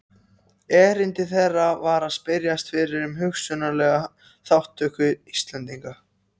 Erindi þeirra var að spyrjast fyrir um hugsanlega þátttöku Íslendinga.